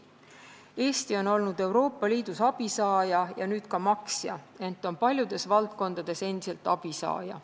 Eesti on olnud Euroopa Liidus abisaaja, nüüd on ta ka maksja, ent on paljudes valdkondades endiselt abisaaja.